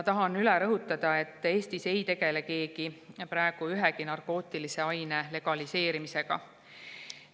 Tahan üle rõhutada, et Eestis ei tegele keegi praegu ühegi narkootilise aine legaliseerimisega.